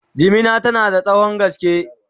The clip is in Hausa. jimina tana da tsawon gaske